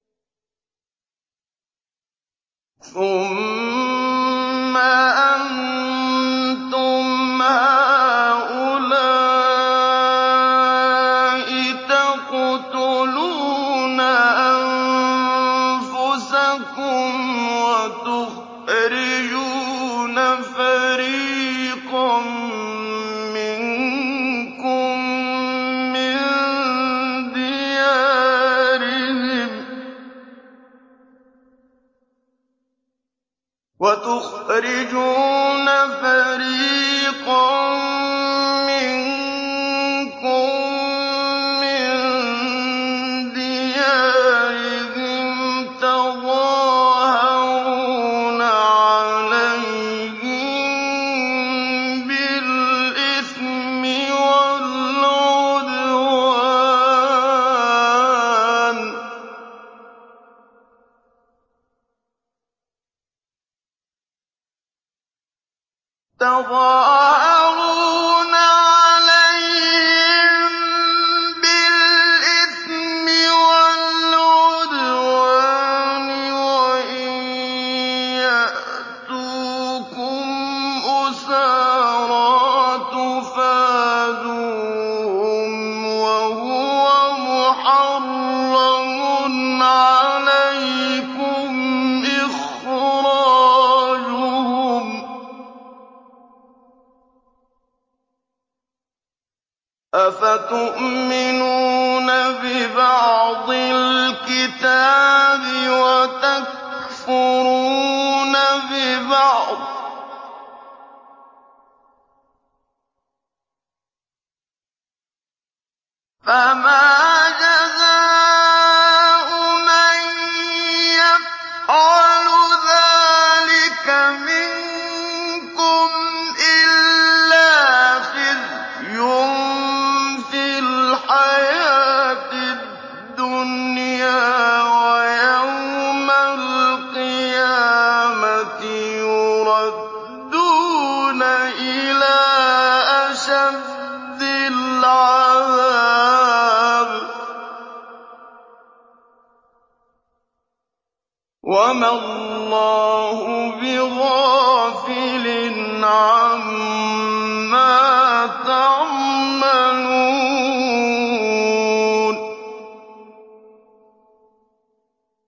ثُمَّ أَنتُمْ هَٰؤُلَاءِ تَقْتُلُونَ أَنفُسَكُمْ وَتُخْرِجُونَ فَرِيقًا مِّنكُم مِّن دِيَارِهِمْ تَظَاهَرُونَ عَلَيْهِم بِالْإِثْمِ وَالْعُدْوَانِ وَإِن يَأْتُوكُمْ أُسَارَىٰ تُفَادُوهُمْ وَهُوَ مُحَرَّمٌ عَلَيْكُمْ إِخْرَاجُهُمْ ۚ أَفَتُؤْمِنُونَ بِبَعْضِ الْكِتَابِ وَتَكْفُرُونَ بِبَعْضٍ ۚ فَمَا جَزَاءُ مَن يَفْعَلُ ذَٰلِكَ مِنكُمْ إِلَّا خِزْيٌ فِي الْحَيَاةِ الدُّنْيَا ۖ وَيَوْمَ الْقِيَامَةِ يُرَدُّونَ إِلَىٰ أَشَدِّ الْعَذَابِ ۗ وَمَا اللَّهُ بِغَافِلٍ عَمَّا تَعْمَلُونَ